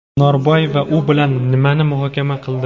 Norboyeva u bilan nimani muhokama qildi?.